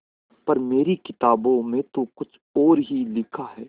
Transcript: पर मेरी किताबों में तो कुछ और ही लिखा है